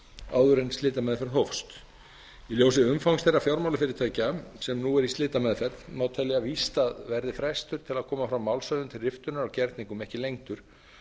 áður en slitameðferð hófst í ljósi umfangs þeirra fjármálafyrirtækja sem nú eru í slitameðferð má telja víst að verði frestur til að koma fram málshöfðun til riftunar á gerningum ekki lengdur